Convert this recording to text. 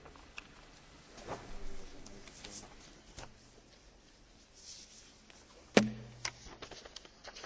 Chers collègues, la lutte contre la violence à l'égard des femmes est un but commun au Parlement européen et au Conseil.